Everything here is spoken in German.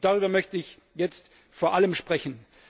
Darüber möchte ich jetzt vor allem sprechen.